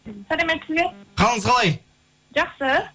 сәлеметсіз бе қалыңыз қалай жақсы